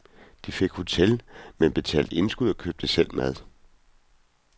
De fik hotel, men betalte indskud og købte selv mad.